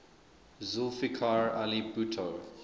zulfikar ali bhutto